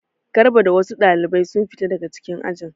Garba da wasu ɗalibai sun fita daga ajin.